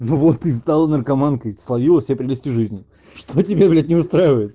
ну вот и стала наркоманкой словила все прелести жизни что тебя блять не устраивает